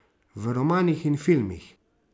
V romanih in filmih.